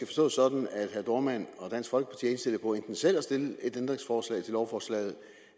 forstås sådan at herre dohrmann og dansk folkeparti er indstillet på enten selv at stille et ændringsforslag til lovforslaget